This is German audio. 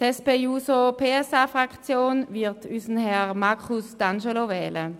: Die SP-JUSO-PSA-Fraktion wird unseren Markus D’Angelo wählen.